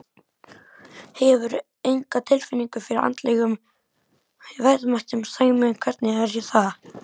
Hefurðu enga tilfinningu fyrir andlegum verðmætum, Sæmi, hvernig er það?